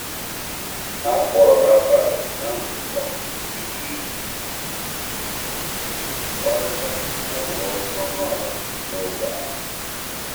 A kpọrọ rabbi na nzukọ ọha iji kparịta ụlọ dị ọnụ ala n’ógbè ahụ.